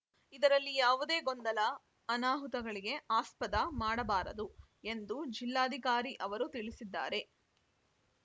ಇದರಲ್ಲಿ ಯಾವುದೇ ಗೊಂದಲ ಅನಾಹುತಗಳಿಗೆ ಆಸ್ಪದ ಮಾಡಬಾರದು ಎಂದು ಜಿಲ್ಲಾಧಿಕಾರಿ ಅವರು ತಿಳಿಸಿದ್ದಾರೆ